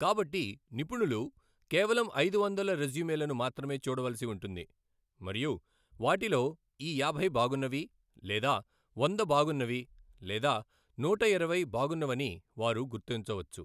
కాబట్టి నిపుణులు కేవలం ఐదు వందల రెజ్యూమెలను మాత్రమే చూడవలసి ఉంటుంది మరియు వాటిలో ఈ యాభై బాగున్నవి లేదా వంద బాగున్నవి లేదా నూటఇరవై బాగున్నవని వారు గుర్తించవచ్చు.